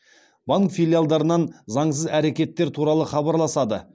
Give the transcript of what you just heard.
банк филиалдарынан заңсыз әрекеттер туралы хабарласады